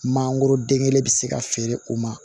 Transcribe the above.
Mangoro den kelen bɛ se ka feere o ma